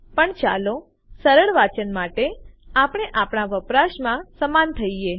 પણ ચાલો સરળ વાંચન માટે આપણે આપણા વપરાશમાં સમાન થઈએ